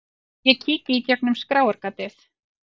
Ég kíki í gegnum skráargatið.